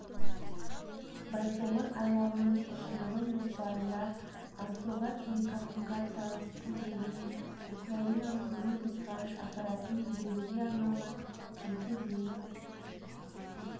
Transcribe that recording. байқоңыр айлағының ұшырылым жоспарында ангосат телекоммуникациялық спутнигі мен украиналық лыбидь ғарыш аппаратын жіберуге арналған екі зенит